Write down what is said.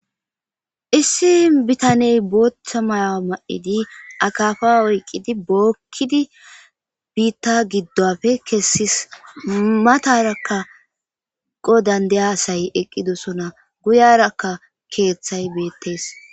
issi bitaney booththa mayawa ma7edi akafa oyqqidi bookkidi biitta giddopfe kessis matarakka qo dandayasay eqqidosona guyarakka keeththay beettees